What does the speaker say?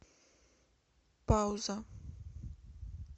пауза